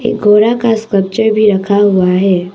घोड़ा का भी रखा हुआ है।